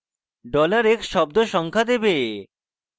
dollar x শব্দ সংখ্যা দেবে